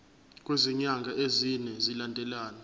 kwezinyanga ezine zilandelana